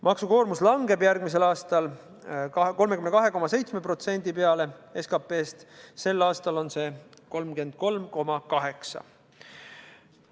Maksukoormus langeb järgmisel aastal 32,7%-ni SKP-st, sel aastal on see 33,8%.